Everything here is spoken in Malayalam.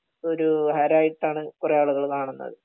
ഒരു ഹരായിട്ടാണ് കൊറേ ആളുകൾ കാണുന്നത്